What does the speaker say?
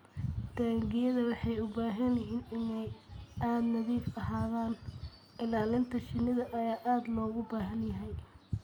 Taangiyada waxay u baahan yihiin inay nadiif ahaadaan. Ilaalinta shinida ayaa aad loogu baahan yahay.